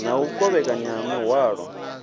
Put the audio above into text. na u kovhekanywa ha muhwalo